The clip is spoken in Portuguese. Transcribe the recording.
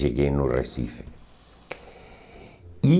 Cheguei no Recife. E